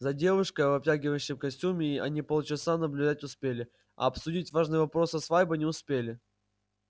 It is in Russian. за девушкой в обтягивающем костюме они полчаса наблюдать успели а обсудить важный вопрос со свадьбой не успели